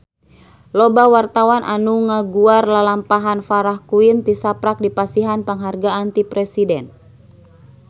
Loba wartawan anu ngaguar lalampahan Farah Quinn tisaprak dipasihan panghargaan ti Presiden